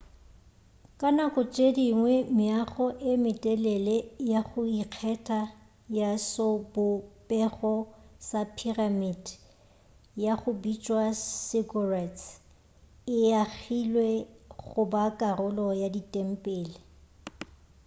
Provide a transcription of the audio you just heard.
ka nako tše dingwe meago ye metelele ya go ikgetha ya sobopego sa phiramite ya go bitšwa ziggurats e agilwe go ba karolo ya ditempele